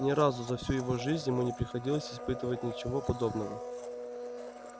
ни разу за всю его жизнь ему не приходилось испытывать ничего подобного